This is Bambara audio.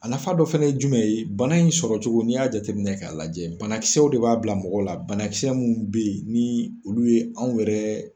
A nafa dɔ fana ye jumɛn ye, bana in sɔrɔ cogo ni y'a jateminɛ ka lajɛ banakisɛw de b'a bila mɔgɔw la. Banakisɛ munnu be yen ni olu ye anw yɛrɛ